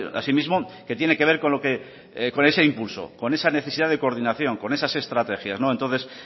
así mismo que tiene que ver con lo que con ese impulso con esa necesidad de coordinación con esas estrategias entonces